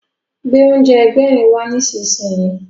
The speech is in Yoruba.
Gbé oúnjẹ Ẹgbẹ̀rin wá nísinsìnyí!